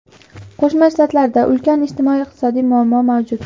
Qo‘shma Shtatlarda ulkan ijtimoiy-iqtisodiy muammo mavjud.